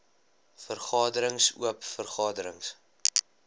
vergaderings oop vergaderings